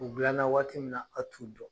U dilanna waati min na, a' t'u dɔn.